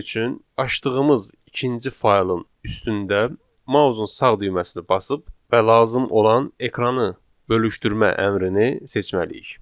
Bunun üçün açdığımız ikinci faylın üstündə mausun sağ düyməsini basıb və lazım olan ekranı bölüşdürmə əmrini seçməliyik.